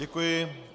Děkuji.